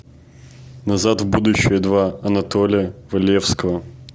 назад в будущее два анатолия валевского